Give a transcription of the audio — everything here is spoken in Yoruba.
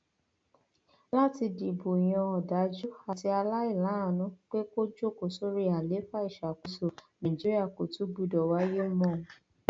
láti dìbò yan ọdájú àti aláìláàánú pé kó jókòó sórí àlééfà ìṣàkóso nàìjíríà kò tún gbọdọ wáyé mọ